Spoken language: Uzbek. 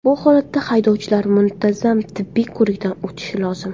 Bu holatda haydovchilar muntazam tibbiy ko‘rikdan o‘tishi lozim.